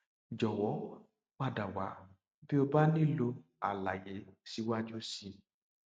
jọwọ padà wá bí o bá nílò àlàyé síwájú sí i